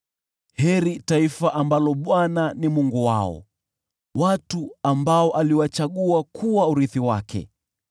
Heri taifa ambalo Bwana ni Mungu wao, watu ambao aliwachagua kuwa urithi wake.